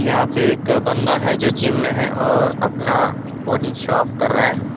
यहां पे एक बंदा है जो जिम में है और अपना बॉडी शोऑफ़ कर रहा है।